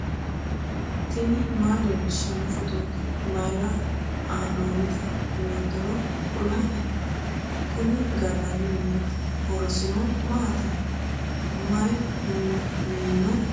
tini maa leellishshanno phootooti mayra haa'noonnite yoottoro kuloheni ? kuni gallanni mineeti . horosino maaati ? mayi miino mineeti ?